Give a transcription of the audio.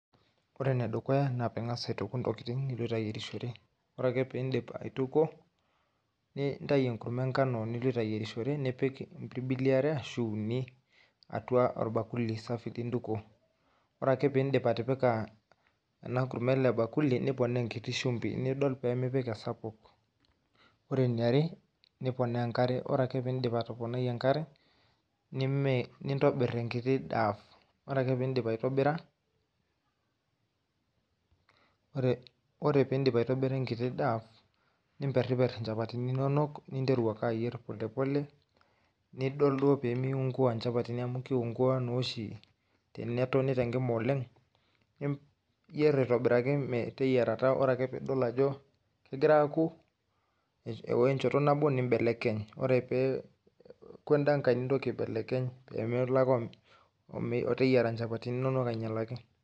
Ore enedukuya naa piing'as aituku ntokitin niloito ayierishore, ore ake pee indip aituku nintayu enkurma engano niloito ayierishore nipik impirbili are ashu uni atua orbakuli safi lintukuo ore ake pindip atipika ena kurma ele bakuli niponaa enkiti shumbi nidol pee mipik esapuk, ore eniare niponaa enkare ore piindip atoponai enkare nintobirr enkiti dough ore ake pee indip aitobira enkiti [cs[dough nimperriperr nchapatini inonok ninteru ake ayierr pole pole nidol duoo pee miiunguaa nchapatini amu kiungua naa oshi tenetoni tenkima oleng' niyierr aitobiraki meteyiarata ore ake pee idol ajo egira aaoku eeo enchoto nabo nimbelekeny ore pee eoku enda nkae nintoki aibelekeny pee melo ake ooteyiera nchapatini inonok ainyialaki.